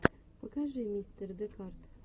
покажи мистер декарт